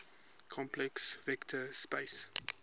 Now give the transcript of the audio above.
complex vector space